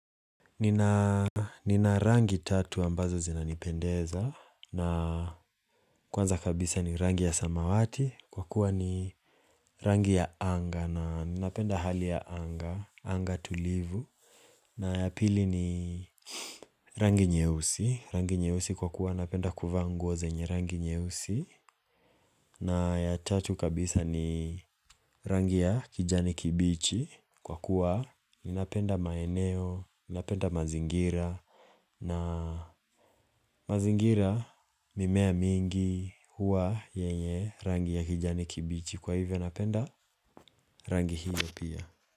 Nina rangi tatu ambazo zinanipendeza na kwanza kabisa ni rangi ya samawati kwa kuwa ni rangi ya anga na ninapenda hali ya anga, anga tulivu na ya pili ni rangi nyeusi, rangi nyeusi kwa kuwa napenda kuvaa nguo zenye rangi nyeusi na ya tatu kabisa ni rangi ya kijani kibichi kwa kuwa ninapenda maeneo, ninapenda mazingira na mazingira mimea mingi huwa yenye rangi ya kijani kibichi kwa hivyo napenda rangi hiyo pia.